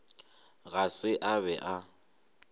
ga se a be a